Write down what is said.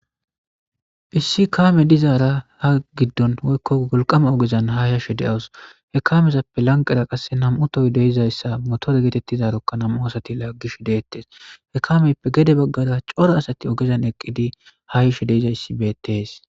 Issi kaame dizaara ha giddon woykko golqama ogezan ha yashe de7awus he kaamezappe lanqera qasse nam7utoy deizayssa motore geetettizarokka nam7u asati laaggish deettes he kaameyppe gede baggada coro asati ogezan eqqidi haa yashe deizayssi bettees.